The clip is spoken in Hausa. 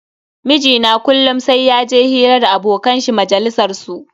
Mijina kullum sai yaje hira da abokan shi majalisar su.